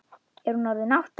Er hún orðin átta?